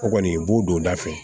O kɔni i b'o don o da fɛ